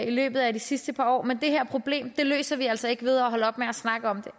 i løbet af de sidste par år men det her problem løser vi altså ikke ved at holde op med at snakke om